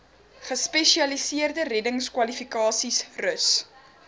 gespesialiseerde reddingskwalifikasies rus